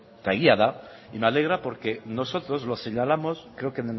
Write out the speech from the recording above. eta egia da y me alegra porque nosotros lo señalamos creo que